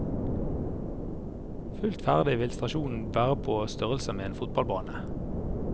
Fullt ferdig vil stasjonen være på størrelse med en fotballbane.